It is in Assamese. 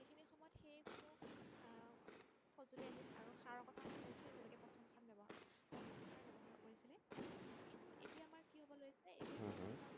এতিয়া আমাৰ উম হম